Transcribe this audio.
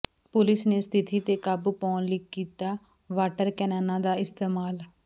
police ਨੇ ਸਥਿਤੀ ਤੇ ਕਾਬੂ ਪਾਉਣ ਲਈ ਕੀਤਾ ਵਾਟਰ ਕੈਨਨਾਂ ਦਾ ਇਸਤੇਮਾਲ